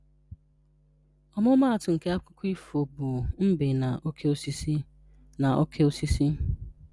Ọmụmatụ nke Akụkọ Ifo a bụ Mbe na Oke Osisi. na Oke Osisi.